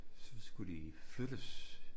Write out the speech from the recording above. Så skulle de flyttes